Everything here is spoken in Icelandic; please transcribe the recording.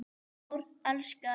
Smári elskar